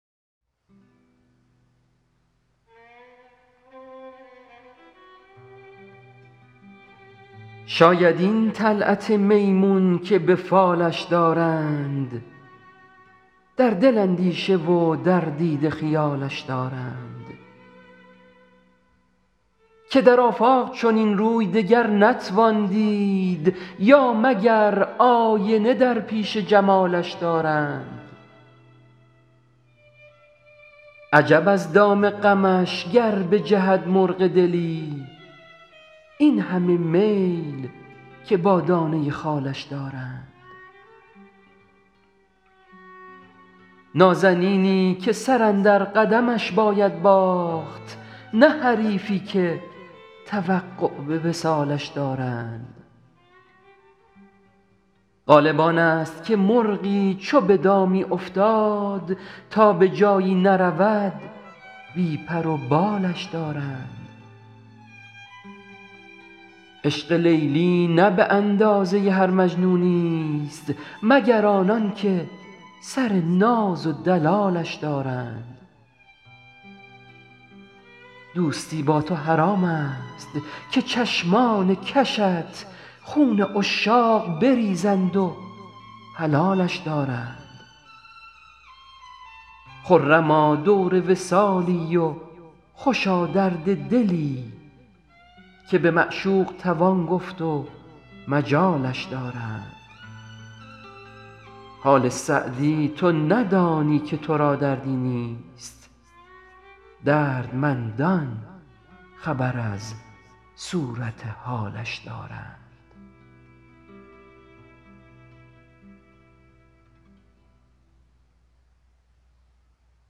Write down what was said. شاید این طلعت میمون که به فالش دارند در دل اندیشه و در دیده خیالش دارند که در آفاق چنین روی دگر نتوان دید یا مگر آینه در پیش جمالش دارند عجب از دام غمش گر بجهد مرغ دلی این همه میل که با دانه خالش دارند نازنینی که سر اندر قدمش باید باخت نه حریفی که توقع به وصالش دارند غالب آن ست که مرغی چو به دامی افتاد تا به جایی نرود بی پر و بالش دارند عشق لیلی نه به اندازه هر مجنونی ست مگر آنان که سر ناز و دلالش دارند دوستی با تو حرام ست که چشمان کشت خون عشاق بریزند و حلالش دارند خرما دور وصالی و خوشا درد دلی که به معشوق توان گفت و مجالش دارند حال سعدی تو ندانی که تو را دردی نیست دردمندان خبر از صورت حالش دارند